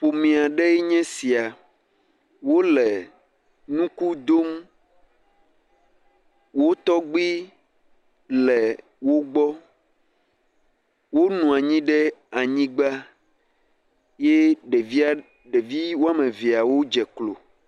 ƒomie ɖeɛ nye sia wóle nuku dom wó tɔgbi le wogbɔ wó nuɔnyi ɖe anyigbã ye ɖevi woamevia wó dze klo